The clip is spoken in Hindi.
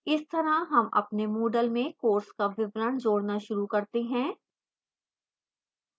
इस तरह हम अपने moodle में course का विवरण जोड़ना शुरू करते हैं